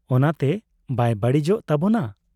ᱚᱱᱟᱛᱮ ᱵᱟᱭ ᱵᱟᱹᱲᱤᱡᱚᱜ ᱛᱟᱵᱚᱱᱟ ᱾